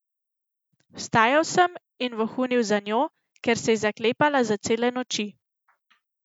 Vstajal sem in vohunil za njo, ker se je zaklepala za cele noči.